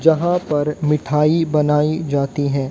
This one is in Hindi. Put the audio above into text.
जहां पर मिठाई बनाई जाती है।